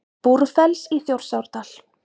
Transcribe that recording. Búrfells í Þjórsárdal.